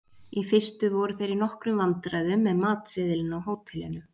Í fyrstu voru þeir í nokkrum vandræðum með matseðilinn á hótelinu.